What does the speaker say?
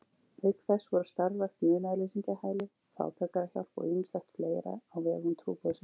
Auk þess voru starfrækt munaðarleysingjahæli, fátækrahjálp og ýmislegt fleira á vegum trúboðsins.